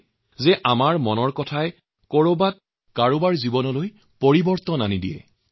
যি কি নহওঁক এই মন কী বাতে একাংশ লোকৰ জীৱনৰ বতৰো সলনি কৰিছে